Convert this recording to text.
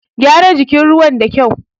Gyara jirgin ruwa da kyau!